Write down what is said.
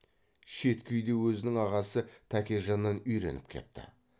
шеткі үйде өзінің ағасы тәкежаннан үйреніп кепті